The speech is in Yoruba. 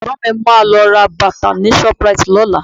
Ẹ̀gbọ́n mi máa lọ ra bàtà ni shoprite lọ́la